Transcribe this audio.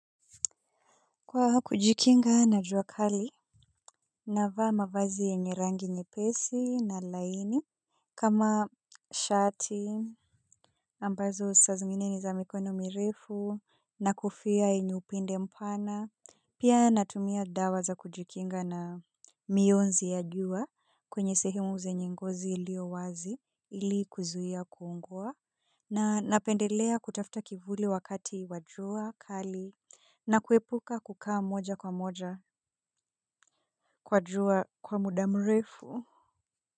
Kwa kujikinga na jua kali, navaa mavazi yenye rangi njepesi na laini, kama shati, ambazo saa zingine ni za mikono mirefu, na kufoa yenye upinde mpana, pia natumia dawa za kujikinga na mionzi ya jua, kwenye sehemu zenye ngozi iliyo wazi, ili kuzuia kuungua. Na napendelea kutafuta kivuli wakati wa jua kali na kuepuka kukaa moja kwa moja kwa jua kwa muda mrefu.